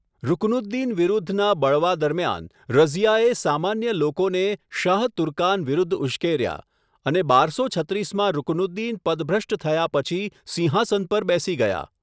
રુકનુદ્દીન વિરુદ્ધના બળવા દરમિયાન, રઝિયાએ સામાન્ય લોકોને શાહ તુર્કાન વિરુદ્ધ ઉશ્કેર્યા, અને બારસો છત્રીસમાં રુકનુદ્દીન પદભ્રષ્ટ થયા પછી સિંહાસન પર બેસી ગયાં.